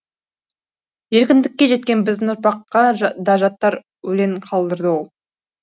еркіндікке жеткен біздің ұрпаққа да жаттар өлең қалдырды ол